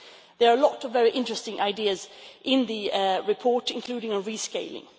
There are lots of interesting ideas in the report, including on rescaling.